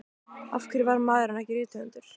Af hverju varð maðurinn ekki rithöfundur?